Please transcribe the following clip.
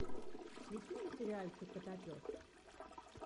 включи мне сериальчик котопес